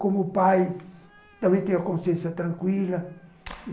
Como pai, também tenho a consciência tranquila.